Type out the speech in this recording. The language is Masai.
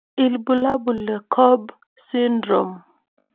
Ibulabul le Cobb syndrome.